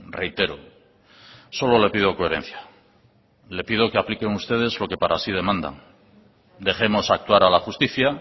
reitero solo le pido coherencia le pido que apliquen ustedes lo que para sí demanda dejemos actuar a la justicia